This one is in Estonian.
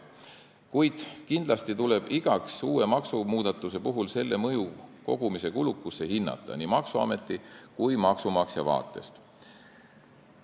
Kuid kindlasti tuleb hinnata iga uue maksumuudatuse mõju maksukogumise kulukusele nii maksuameti kui ka maksumaksja vaatest.